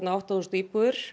átta þúsund íbúðir